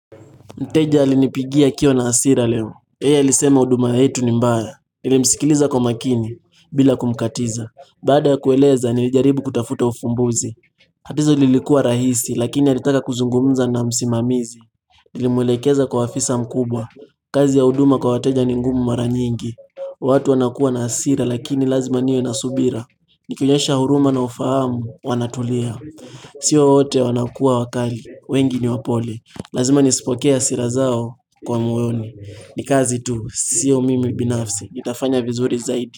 Mteja alinipigia akiwa na hasira leo. Yeye ailisema huduma yetu ni mbaya. Nilimsikiliza kwa makini. Bila kumkatiza. Baada kueleza, nilijaribu kutafuta ufumbuzi. Tatizo lilikuwa rahisi, lakini alitaka kuzungumza na msimamizi. Nilimwelekeza kwa afisa mkubwa. Kazi ya huduma kwa wateja ni ngumu mara nyingi. Watu wanakuwa na hasira, lakini lazima niwe na subira. Nikionyesha huruma na ufahamu, wanatulia. Sio wote wanakuwa wakali. Wengi ni wapole Lazima nisipokee hasira zao kwa moyoni. Nikazi tu siyo mimi binafsi. Nitafanya vizuri zaidi.